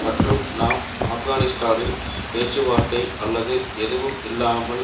மற்றும் நாம் ஆப்கானிஸ்தானில் பேச்சுவார்த்தை அல்லது எதுவும் இல்லாமல்